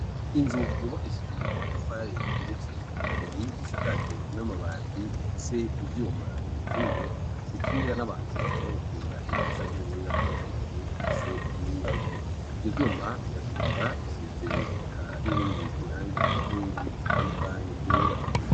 Inzu yubakishije amatafari igiretse ikabiri, isakaje n'amabati ifise ivyuma bikingiye, bikingira n'abantu baja gukiranira hejuru, canke burira ko hejuru, ifise ingazi ivyo vyuma biratukura bisize n'irindi rangi ku nkingi zitandukanye ryera.